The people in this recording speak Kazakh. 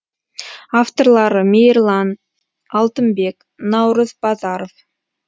авторлары мейірлан алтынбек наурыз базаров